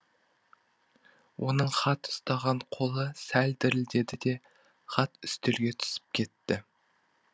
оның хат ұстаған қолы сәл дірілдеді де хат үстелге түсіп кетті